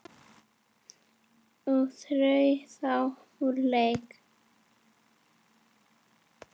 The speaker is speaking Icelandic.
og eru þá úr leik.